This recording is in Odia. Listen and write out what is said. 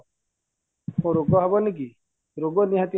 ରୋଗ ହବନିକି ରୋଗ ନିହାତି